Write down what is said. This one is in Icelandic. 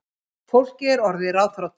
Fólkið er orðið ráðþrota